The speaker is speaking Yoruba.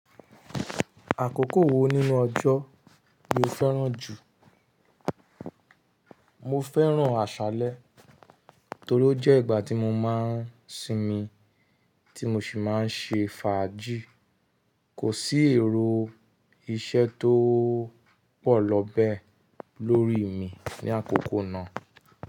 Àkókò wo nínú ọjọ́ lo fẹ́ràn jù? Mo fẹ́ràn àṣálẹ́ torí ó jẹ́ ìgbà tí mo máa ń sinmi tí mo ṣì máa ń ṣe fàájì. Kò sí èrò iṣẹ́ tó pọ̀ lọ bẹ́ẹ̀ lórí mi ní àkókò náà.